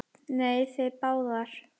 Nei, þið báðar.